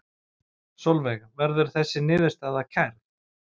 Sólveig: Verður þessi niðurstaða kærð?